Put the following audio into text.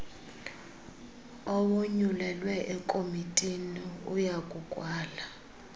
owonyulelwe ekomitini uyakukwala